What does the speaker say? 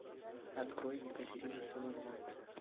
открой екатерина самозванцы